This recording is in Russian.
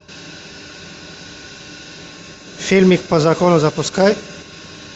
фильмик по закону запускай